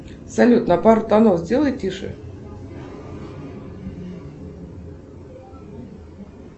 салют на пару тонов сделай тише